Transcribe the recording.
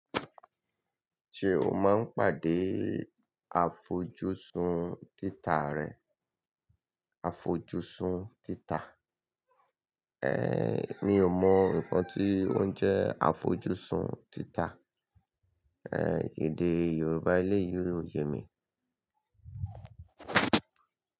Ṣé o máa ń pàdé àfojúsùn títà rẹ? Àfojúsùn títà. Ehn, mi ò mọ nǹkan tí ó ń jẹ́ àfojúsùn títà. Ehn, èdè Yorùbá eleyi ò yẹ mi.